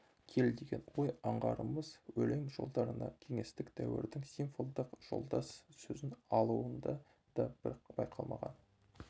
кел деген ойын аңғарамыз өлең жолдарына кеңестік дәуірдің символдық жолдас сөзін алуында да бір байқалмаған